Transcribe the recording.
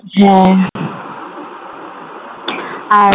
হ্যাঁ আর